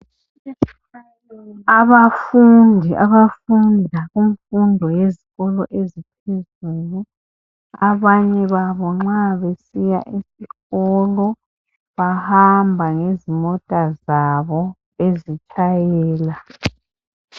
Abafundi abafunda kumfundo yezikolo esiphezulu abanye babo nxa besiya esikolo bahamba ngezimota zabo bezitshayela.